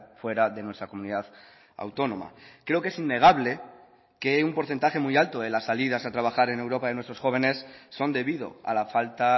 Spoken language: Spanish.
fuera de nuestra comunidad autónoma creo que es innegable que un porcentaje muy alto de las salidas a trabajar en europa de nuestros jóvenes son debido a la falta